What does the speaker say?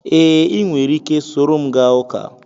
Ee, ị nwere ike soro m gaa ụka